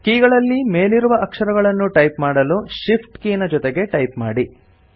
ಕೀಗಳಲ್ಲಿ ಮೇಲಿರುವ ಅಕ್ಷರಗಳನ್ನು ಟೈಪ್ ಮಾಡಲು Shift ಕೀನ ಜೊತೆಗೆ ಟೈಪ್ ಮಾಡಿ